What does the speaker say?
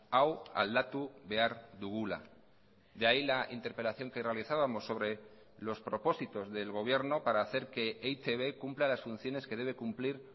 hau aldatu behar dugula de ahí la interpelación que realizábamos sobre los propósitos del gobierno para hacer que e i te be cumpla las funciones que debe cumplir